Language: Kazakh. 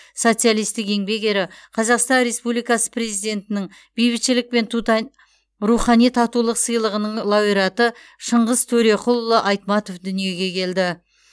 социалистік еңбек ері қазақстан республикасы президентінің бейбітшілік пен тута рухани татулық сыйлығының лауреаты шыңғыс төреқұлұлы айтматов дүниеге келді